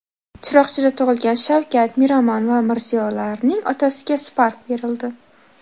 Chiroqchida tug‘ilgan Shavkat, Miromon va Mirziyolarning otasiga Spark berildi .